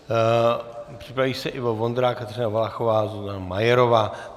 Připraví se Ivo Vondrák, Kateřina Valachová, Zuzana Majerová.